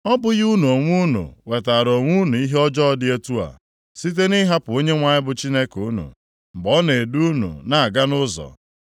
Ọ bụghị unu onwe unu wetaara onwe unu ihe ọjọọ dị otu a site na ịhapụ Onyenwe anyị bụ Chineke unu, mgbe ọ na-edu unu na-aga nʼụzọ?